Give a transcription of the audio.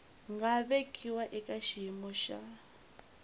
nga vekiwa eka xiyimo xa